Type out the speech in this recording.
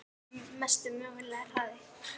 Mesti mögulegi hraði?